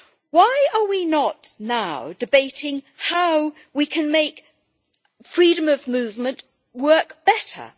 Why are we not now debating how we can make freedom of movement work better?